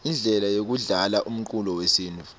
indlela yekudlala umcuco wesintfu